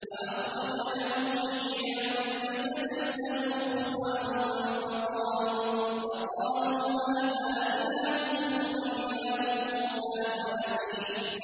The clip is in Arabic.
فَأَخْرَجَ لَهُمْ عِجْلًا جَسَدًا لَّهُ خُوَارٌ فَقَالُوا هَٰذَا إِلَٰهُكُمْ وَإِلَٰهُ مُوسَىٰ فَنَسِيَ